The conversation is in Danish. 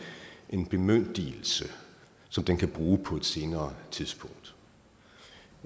en bemyndigelse som den kan bruge på et senere tidspunkt